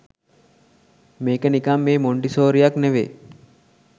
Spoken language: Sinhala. මේක නිකන් මේ මොන්ටිසෝරියක් නෙවේ